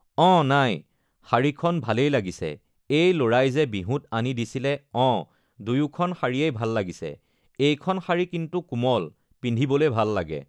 অঁ নাই শাড়ীখন ভালেই লাগিছে এই ল'ৰাই যে বিহুত আনি দিছিলে অঁ দুয়োখন শাৰীয়েই ভাল লাগিছে এইখন শাড়ী কিন্তু কোমল পিন্ধিবলে ভাল লাগে